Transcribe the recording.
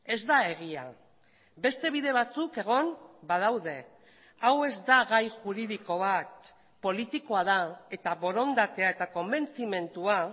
ez da egia beste bide batzuk egon badaude hau ez da gai juridiko bat politikoa da eta borondatea eta konbentzimendua